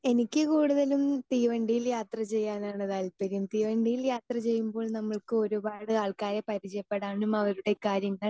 speaker 2 എനിക്ക് കൂടുതലും തീവണ്ടിയിൽ യാത്ര ചെയ്യാനാണ് താല്പര്യം തീവണ്ടിയിൽ യാത്ര ചെയ്യുമ്പോൾ നമ്മൾക്ക് ഒരുപാട് ആൾക്കാരെ പരിചയപ്പെടാനും അവരുടെ കാര്യങ്ങൾ